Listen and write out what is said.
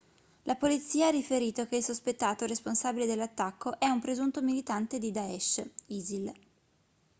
la polizia ha riferito che il sospettato responsabile dell'attacco è un presunto militante di daesh isil